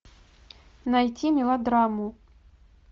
найти мелодраму